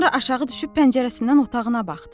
Sonra aşağı düşüb pəncərəsindən otağına baxdım.